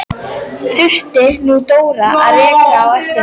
Þurfti nú Dóra að reka á eftir henni!